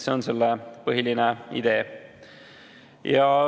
See on selle põhiline idee.